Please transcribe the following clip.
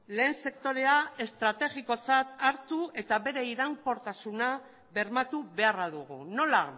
lehen sektorea estrategikotzat hartu eta bere iraunkortasuna bermatu beharra dugu nola